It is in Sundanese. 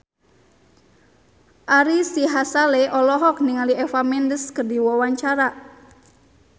Ari Sihasale olohok ningali Eva Mendes keur diwawancara